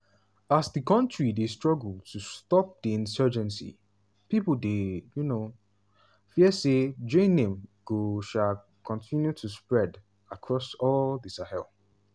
as di kontris dey struggle to stop di insurgency pipo dey um fear say jnim go um continue to spread across all di sahel.